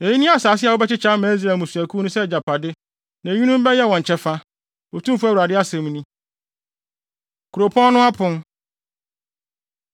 “Eyi ne asase a wobɛkyekyɛ ama Israel mmusuakuw no sɛ agyapade, na eyinom bɛyɛ wɔn kyɛfa,” Otumfo Awurade asɛm ni. Kuropɔn No Apon